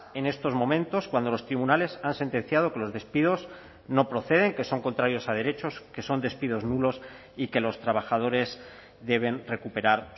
en estos momentos cuando los tribunales han sentenciado que los despidos no proceden que son contrarios a derechos que son despidos nulos y que los trabajadores deben recuperar